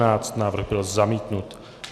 Návrh byl zamítnut.